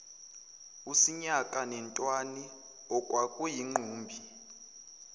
usinyaka netwani okwakuyingqumbi